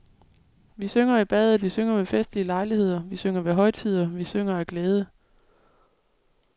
Vi synger i badet, vi synger ved festlige lejligheder, vi synger ved højtider, vi synger af glæde.